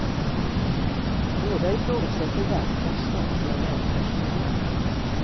Båda ifrågasätter värdet av statliga välfärdsprogram.